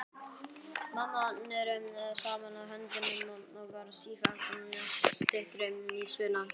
Mamma neri saman höndunum og varð sífellt styttri í spuna.